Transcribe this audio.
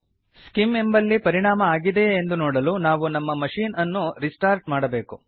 scheme ಎಂಬಲ್ಲಿ ಪರಿಣಾಮ ಆಗಿದೆಯೇ ಎಂದು ನೋಡಲು ನಾವು ನಮ್ಮ ಮಶೀನ್ ಅನ್ನು ರಿಸ್ಟಾರ್ಟ್ ಮಾಡಬೇಕು